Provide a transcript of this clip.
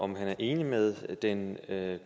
om han er enig med den